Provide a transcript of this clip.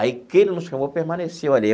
Aí quem ele não chamou, permaneceu ali.